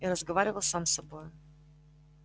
и разговаривал сам с собой